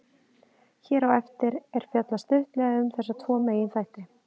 Hér á eftir er fjallað stuttlega um þessa tvo meginþætti.